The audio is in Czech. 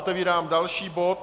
Otevírám další bod